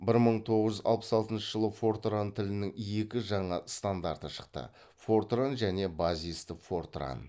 бір мың тоғыз жүз алпыс алтыншы жылы фортран тілінің екі жаңа стандарты шықты фортран және базисті фортран